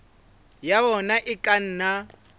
ya ona e ka nna